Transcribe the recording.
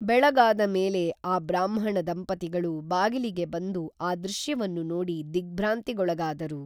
ಬೆಳಗಾದ ಮೇಲೆ ಆ ಬ್ರಾಹ್ಮಣ ದಂಪತಿಗಳು ಬಾಗಿಲಿಗೆ ಬಂದು ಆ ದೃಶ್ಯವನ್ನು ನೋಡಿ ದಿಗ್ಭ್ರಾಂತಿಗೊಳಗಾದರು